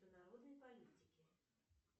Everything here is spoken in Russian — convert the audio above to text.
народной политики